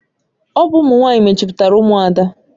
Ọ bụ ụmụ nwanyị mejupụtara Umuada.